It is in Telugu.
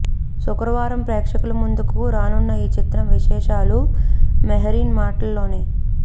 శుక్రవారం ప్రేక్షకుల ముందుకు రానున్న ఈ చిత్ర విశేషాలు మెహరీన్ మాటల్లోనే